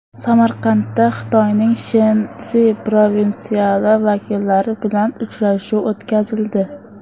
Samarqandda Xitoyning Shensi provinsiyasi vakillari bilan uchrashuv o‘tkazildi.